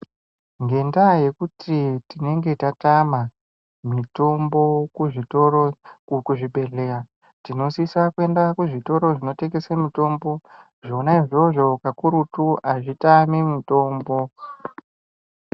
Ngendaa yokuti tinenge tatama mitombo muzvitoro kuzvibhedhleya tinosisa kuenda kuzvitoro zvinotengesa mitombo zvona izvozvo kakurutu hazvitami mitombo.